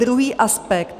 Druhý aspekt.